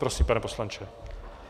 Prosím, pane poslanče.